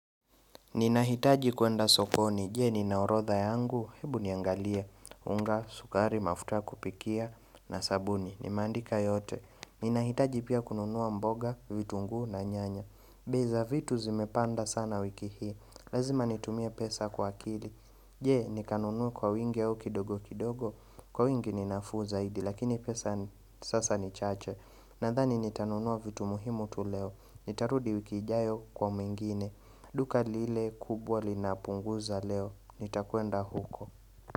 Ninahitaji kuenda sokoni, jee nina orotha yangu? Hebu niangalie, unga, sukari, mafuta kupikia, na sabuni, nimeandika yote. Ninahitaji pia kununua mboga, vitunguu na nyanya. Bei za vitu zimepanda sana wiki hii, lazima nitumie pesa kwa akili Jee, nikanunue kwa wingi au kidogo kidogo? Kwa wingi ninafuu zaidi, lakini pesa sasa ni chache. Nadhani nitanunua vitu muhimu tu leo, nitarudi wiki ijayo kwa mengine Duka lile kubwa linapunguza leo, nitakuenda huko.